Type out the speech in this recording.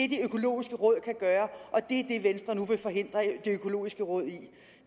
det økologiske råd kan gøre og det er det venstre nu vil forhindre det økologiske råd i det